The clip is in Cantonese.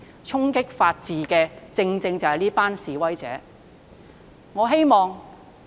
衝擊法治的，正正就是這批示威者。